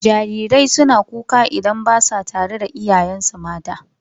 Jarirai suna kuka lokacin da ba sa tare da iyayensu mata.